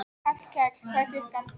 Hallkell, hvað er klukkan?